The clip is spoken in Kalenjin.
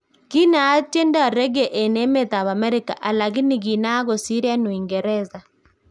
Kinaat tiendop Reggae en emet ab America alakini kinaak kosir en Uingereza